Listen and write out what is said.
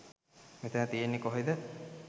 මෙතන කියන්නේ කොහෙද